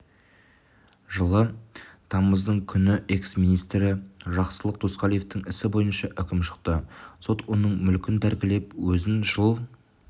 жылы тамыздың күні экс-министрі жақсылық досқалиевтің ісі бойынша үкім шықты сот оның мүлкін тәркілеп өзін жыл